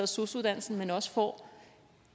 sosu uddannelsen men også får